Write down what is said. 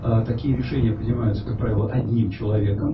такие решения принимаются как правило одним человеком